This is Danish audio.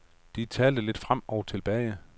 De talte lidt frem og tilbage.